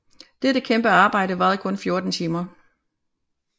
Dette kæmpe arbejde varede kun 14 timer